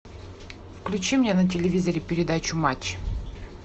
включи мне на телевизоре передачу матч